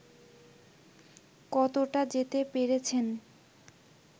কতটা যেতে পেরেছেন